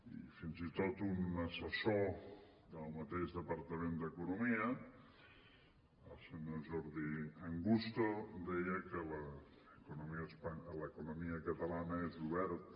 i fins i tot un assessor del mateix departament d’economia el senyor jordi angusto deia que l’economia catalana és oberta